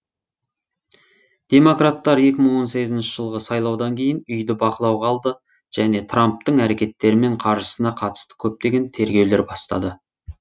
демократтар екі мың он сегізінші жылғы сайлаудан кейін үйді бақылауға алды және трамптың әрекеттері мен қаржысына қатысты көптеген тергеулер бастады